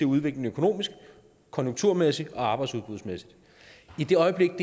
udvikling økonomisk konjunkturmæssigt og arbejdsudbudsmæssigt i det øjeblik